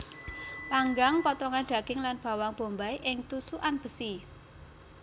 Panggang potongan daging lan bawang bombay ing tusukan besi